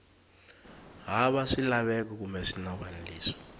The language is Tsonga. hava swilaveko kumbe swinawana leswi